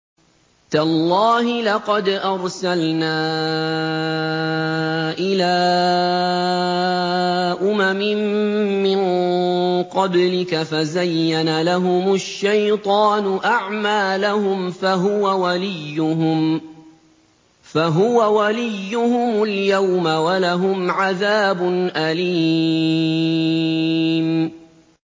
تَاللَّهِ لَقَدْ أَرْسَلْنَا إِلَىٰ أُمَمٍ مِّن قَبْلِكَ فَزَيَّنَ لَهُمُ الشَّيْطَانُ أَعْمَالَهُمْ فَهُوَ وَلِيُّهُمُ الْيَوْمَ وَلَهُمْ عَذَابٌ أَلِيمٌ